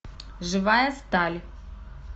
живая сталь